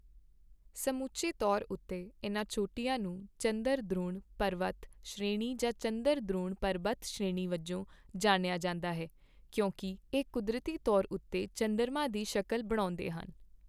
ਸਮੁੱਚੇ ਤੌਰ ਉੱਤੇ ਇਨ੍ਹਾਂ ਚੋਟੀਆਂ ਨੂੰ ਚੰਦਰਦ੍ਰੋਣ ਪਰਬਤ ਸ਼੍ਰੇਣੀ ਜਾਂ ਚੰਦਰਦ੍ਰੋਣ ਪਰਬਤ ਸ਼੍ਰੇਣੀ ਵਜੋਂ ਜਾਣਿਆ ਜਾਂਦਾ ਹੈ ਕਿਉਂਕਿ ਇਹ ਕੁਦਰਤੀ ਤੌਰ ਉੱਤੇ ਚੰਦਰਮਾ ਦੀ ਸ਼ਕਲ ਬਣਾਉਦੇ ਹਨ।